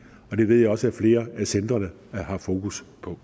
og det ved jeg også flere af centrene har fokus på